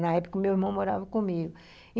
Na época, o meu irmão morava comigo.